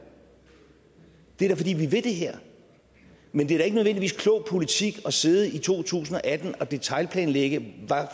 det er da fordi vi vil det her men det er ikke nødvendigvis klog politik at sidde i to tusind og atten og detailplanlægge